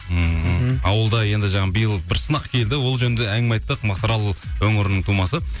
ммм ауылда енді жаңа биыл бір сынақ келді ол жөнінде әңгіме айттық мақтарал өңірінің тумасы